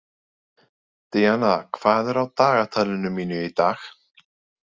Díanna, hvað er á dagatalinu mínu í dag?